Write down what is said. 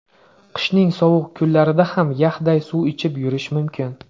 Qishning sovuq kunlarida ham yaxday suv ichib yurish mumkin.